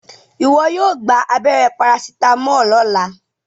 iwọ yóò gbà abéré paracetamol lọla!